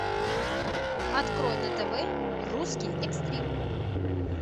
открой на тв русский экстрим